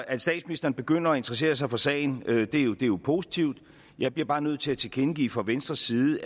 at statsministeren begynder at interessere sig for sagen er jo positivt jeg bliver bare nødt til at tilkendegive fra venstres side